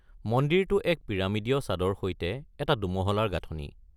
মন্দিৰটো এক পিৰামিডীয় ছাদৰ সৈতে এটা দুমহলাৰ গাঁথনি।